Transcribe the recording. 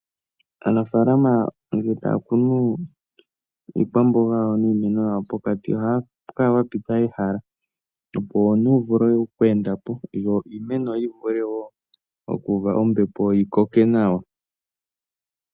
Aanafalama ngele taya kunu iikwamboga yawo niimeno yawo, pokati ohapu kala pwa pita ehala, opo omuntu wu vule oku endapo, yoiimeno yi vule wo oku uumbepo, yi koke nawa.